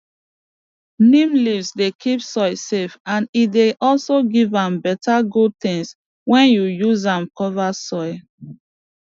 neem leaf dey keep soil safe and e dey also give am better good things when you use am cover soill